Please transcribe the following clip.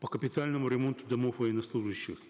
по капитальному ремонту домов военнослужащих